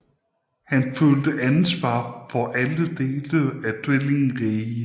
Han følte ansvar for alle dele af tvillingriget